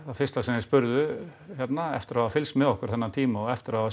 fyrsta sem þeir spurðu hérna eftir að hafa fylgst með okkur þennan tíma og eftir að hafa